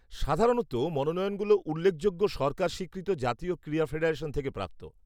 সাধারণত মনোনয়নগুলো উল্লেখযোগ্য সরকার স্বীকৃত জাতীয় ক্রীড়া ফেডারেশন থেকে প্রাপ্ত।